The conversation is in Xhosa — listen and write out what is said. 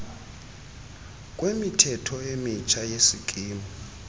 kwemithetho emitsha yesikimu